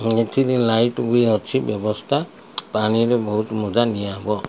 ଏଠି ନାଇଟ୍ ବି ଅଛି। ବ୍ୟବସ୍ଥା ପାଣିରେ ବୋହୁତ ନିଆହବ।